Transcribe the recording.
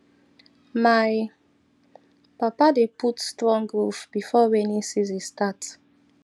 my papa dey put strong roof before rainy season start